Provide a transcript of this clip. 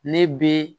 Ne be